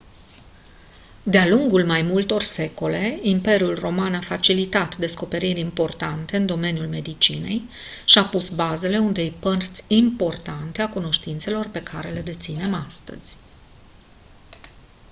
de-a lungul mai multor secole imperiul roman a facilitat descoperiri importante în domeniul medicinei și a pus bazele unei părți importante a cunoștințelor pe care le deținem astăzi